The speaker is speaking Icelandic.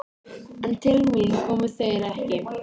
En til mín komu þeir ekki.